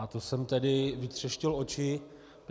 A to jsem tedy vytřeštil oči.